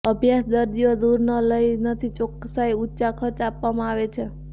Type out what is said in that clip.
અભ્યાસ દર્દીઓ દૂર ન લઈ નથી ચોકસાઈ ઊંચા ખર્ચ આપવામાં આવે છે